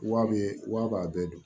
Wa bɛ wa b'a bɛɛ don